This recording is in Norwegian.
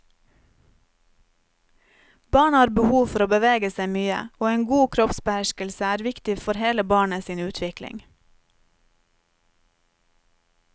Barn har behov for å bevege seg mye og en god kroppsbeherskelse er viktig for hele barnet sin utvikling.